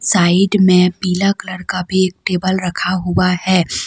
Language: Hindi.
साइड में पीला कलर का भी टेबल रखा हुआ है।